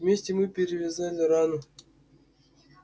вместе мы перевязали рану